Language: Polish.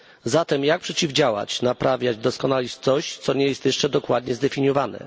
Zatem jak przeciwdziałać czemuś, naprawiać i doskonalić coś, co nie jest jeszcze dokładnie zdefiniowane?